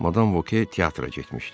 Madam Voke teatra getmişdi.